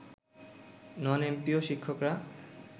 নন MPO শিক্ষকরা